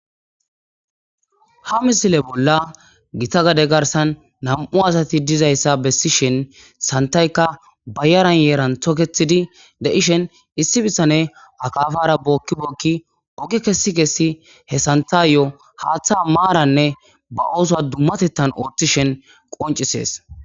Ha misileza bollan githa gade garssan nam7u asathi dizayssa bessishen sanththaykka bayran yaran thokeththidi de7ishen issi bithenee akaafaara bookki bookki oge kessi kessi he sanththaayyoo haaththaa maaranne ba oosuwaa dummatheththan ooththishen qonccisses.